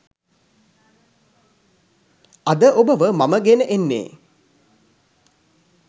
අද ඔබව මම ගෙන එන්නේ